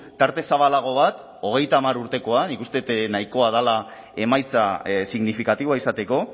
tarte zabalago bat hogeita hamar urtekoa nik uste dut nahikoa dela emaitza signifikatiboa izateko